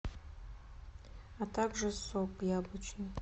а также сок яблочный